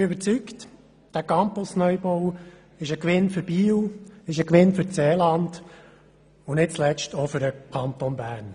Ich bin überzeugt, dieser Campus-Neubau ist ein Gewinn für Biel, das Seeland und nicht zuletzt auch für den Kanton Bern.